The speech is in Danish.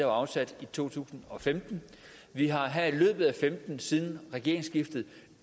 afsat i to tusind og femten vi har her i løbet af femten siden regeringsskiftet